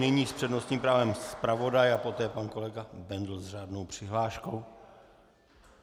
Nyní s přednostním právem zpravodaj a poté pan kolega Bendl s řádnou přihláškou.